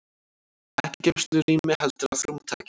Ekki í geymslurými heldur að rúmtaki.